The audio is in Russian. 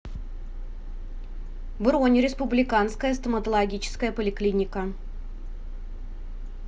бронь республиканская стоматологическая поликлиника